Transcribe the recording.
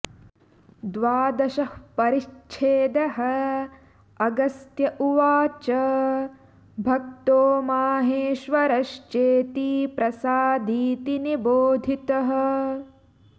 द्वादश परिच्छेदः अगस्त्य उवाच भक्तो माहेश्वर श्चेति प्रसादीति निबोधितः